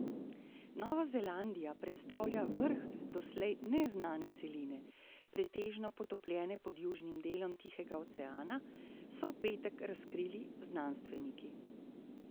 Nova Zelandija predstavlja vrh doslej neznane celine, pretežno potopljene pod južnim delom Tihega oceana, so v petek razkrili znanstveniki.